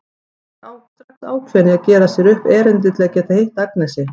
Hann er strax ákveðinn í að gera sér upp erindi til að geta hitt Agnesi.